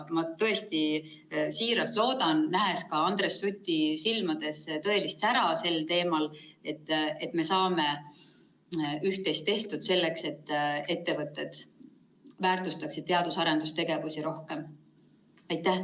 Ma tõesti siiralt loodan, nähes ka Andres Suti silmades tõelist sära selle teema puhul, et me saame üht-teist tehtud selleks, et ettevõtted teadus‑ ja arendustegevust rohkem väärtustaksid.